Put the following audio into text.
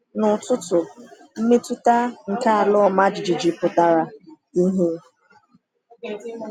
N’ụtụtụ, mmetụta nke ala ọma jijiji pụtara ìhè.